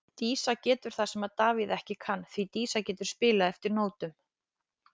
Dísa getur það sem að Davíð ekki kann, því Dísa getur spilað eftir nótum.